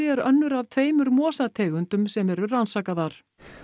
er önnur af tveimur mosategundum sem eru rannsakaðar